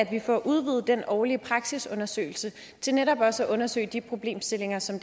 kan få udvidet den årlige praksisundersøgelse til netop også at undersøge de problemstillinger som